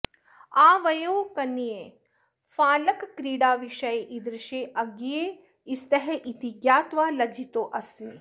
आवयोः कन्ये फालकक्रीडाविषये ईदृशे अज्ञे स्तः इति ज्ञात्वा लज्जितोऽस्मि